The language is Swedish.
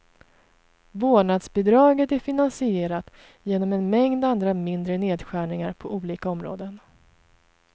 Vårdnadsbidraget är finansierat genom en mängd andra mindre nedskärningar på olika områden.